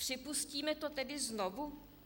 Připustíme to tedy znovu?